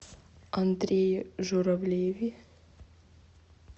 андрее журавлеве